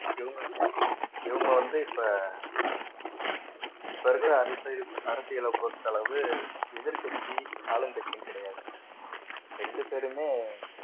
இவங்க இவங்க வந்து இப்ப இப்ப இருக்கிற அரசியலை பொறுத்த அளவு எதிர்க்கட்சி ஆளுங்கட்சியும் கிடையாது ரெண்டு பேருமே